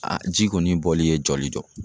A ji kɔni bɔli ye jɔli jɔ